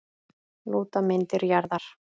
Lúta myndir jarðar.